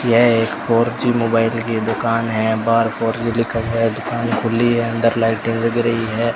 यह एक four G mobile की दुकान है बाहर फोर जी लिखा हुआ है दुकान खुली है अंदर लाइटें जल रही है।